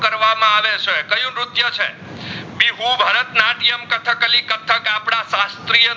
બિહુ, ભરતનાટ્યમ, કથકલી, કથક આપદા સ્સ્તૃય